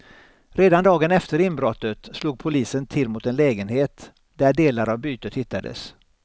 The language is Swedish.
Redan dagen efter inbrottet slog polisen till mot en lägenhet, där delar av bytet hittades.